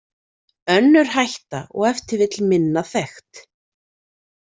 Önnur hætta og ef til vill minna þekkt.